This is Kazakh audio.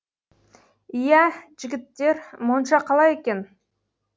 иә жігіттер монша қалай екен